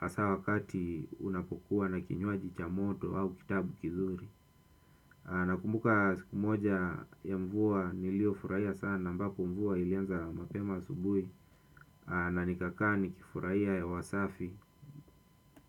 Asa wakati unapokua na kinywaji cha moto au kitabu kizuri. Nakumbuka siku moja ya mvua nilio furaia sana ambapo mvua ilianza mapema asubui na nikakaa nikifuraia hewa safi.